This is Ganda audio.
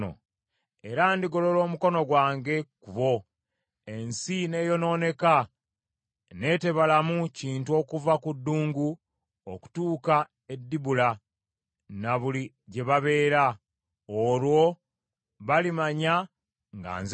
Era ndigolola omukono gwange ku bo, ensi ne yonooneka ne tebalamu kintu okuva ku ddungu okutuuka e Dibula, ne buli gye babeera. Olwo balimanya nga nze Mukama .’”